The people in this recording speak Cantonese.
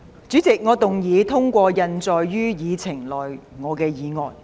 主席，我動議通過印載於議程內我的議案。